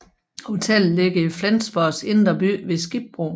Hotellet ligger i Flensborgs indre by ved Skibbroen